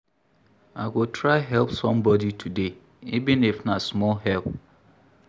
I go try help somebodi today, even if na small help.